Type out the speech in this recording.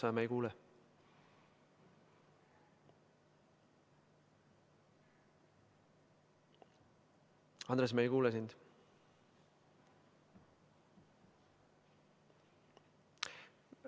Andres Metsoja, me ei kuule sind.